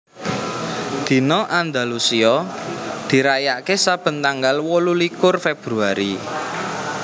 Dina Andalusia dirayakaké saben tanggal wolulikur Februari